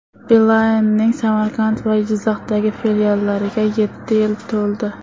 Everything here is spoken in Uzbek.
Beeline’ning Samarqand va Jizzaxdagi filiallariga yetti yil to‘ldi.